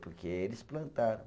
Porque eles plantaram.